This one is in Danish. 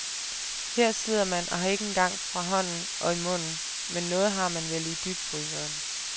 Her sidder man og har ikke engang fra hånden og i munden, men noget har man vel i dybfryseren.